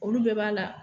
Olu bɛɛ b'a la